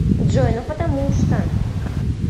джой ну потому что